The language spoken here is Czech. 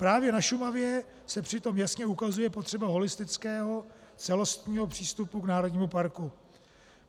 Právě na Šumavě se přitom jasně ukazuje potřeba holistického celostního přístupu k národnímu parku.